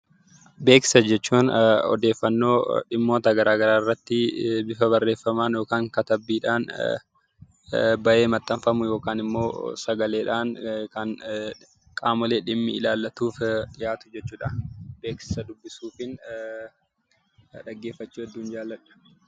Beeksisa jechuun odeeffannoo dhimmoota garaa garaa irratti bifa barreeffamaan yookiin immoo katabbiidhaan ba'ee maxxanfamuu yookiin immoo sagaaleedhaan kan qaamoleen dhimmi ilaallatuuf dhiyaatu jechuudha. Beeksisa dubbisuun dhaggeeffachuu baayyeen jaalladha.